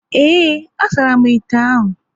Ee, a saramu ite ahụ